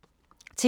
TV 2